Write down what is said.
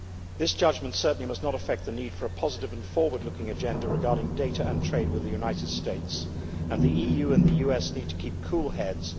This judgment certainly must not affect the need for a positive and forward looking agenda regarding data and trade with the United States, and the EU and the US need to keep cool heads.